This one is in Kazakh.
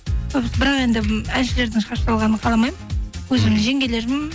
бірақ енді әншілердің шығарып салғанын қаламаймын мхм өзім жеңгелерім